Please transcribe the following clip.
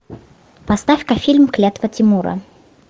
поставь ка фильм клятва тимура